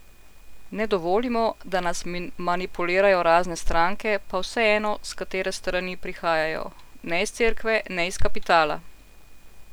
Ne dovolimo, da nas manipulirajo razne stranke, pa vseeno, s katere strani prihajajo, ne iz cerkve, ne iz kapitala!